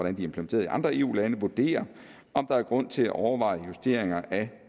implementeret i andre eu lande vurderer om der er grund til at overveje justeringer